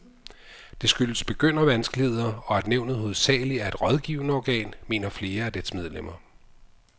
Det skyldes begyndervanskeligheder, og at nævnet hovedsageligt er et rådgivende organ, mener flere af dets medlemmer.